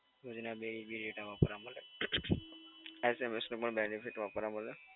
રોજ ના બે GB ડેટા વાપરવા મળે. SMS નું પણ benefit વાપરવા મળે.